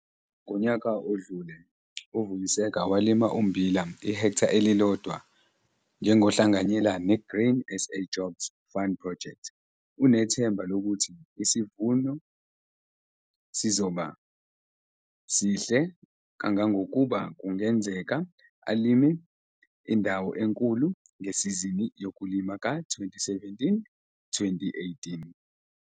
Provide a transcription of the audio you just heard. Ngonyaka odlule uVuyiseka walima ummbila ihektha elilodwa njengohlanganyela ne-Grain SA Jobs Fund Project. Unethemba lokuthi isivuno sizoba sihle kangangokuba kungenzeka alime indawo enkulu ngesizini yokulima ka-2017, 2018.